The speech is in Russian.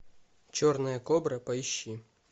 черная кобра поищи